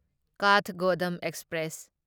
Kathgodam express